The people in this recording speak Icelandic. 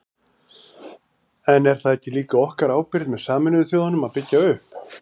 En er það ekki líka okkar ábyrgð með Sameinuðu þjóðunum að byggja upp?